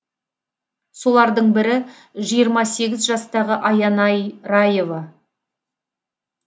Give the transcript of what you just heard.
солардың бірі жиырма сегіз жастағы аянай раева